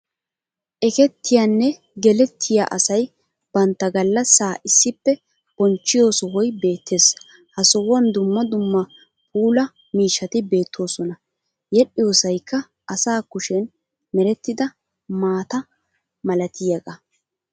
Ekettiyaanne gellettiya asay bantta gallassaa issippe bonchchiyo sohoy beettes. Ha sohuwan dumma dumma puula miishshati beettoosona yedhdhiyoosayikka asa kushen merettida maata malatiyaagaa.